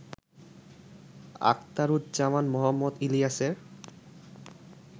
আখতারুজ্জামান মোহাম্মদ ইলিয়াসের